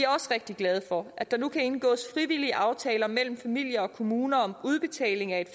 også rigtig glade for at der nu kan indgås frivillige aftaler mellem familier og kommuner om udbetaling af et